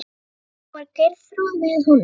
London, þá var Geirþrúður með honum.